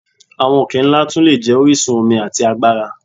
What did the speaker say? Awọn oke-nla tun le jẹ orisun omi ati agbara.